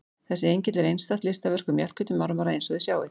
Þessi engill er einstakt listaverk úr mjallhvítum marmara eins og þið sjáið.